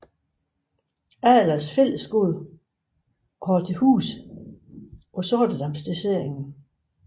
Adlers Fællesskole og havde til huse på Sortedam Dossering